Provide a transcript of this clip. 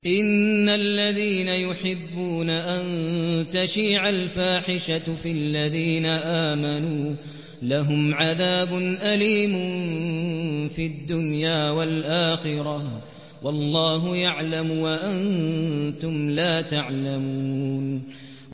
إِنَّ الَّذِينَ يُحِبُّونَ أَن تَشِيعَ الْفَاحِشَةُ فِي الَّذِينَ آمَنُوا لَهُمْ عَذَابٌ أَلِيمٌ فِي الدُّنْيَا وَالْآخِرَةِ ۚ وَاللَّهُ يَعْلَمُ وَأَنتُمْ لَا تَعْلَمُونَ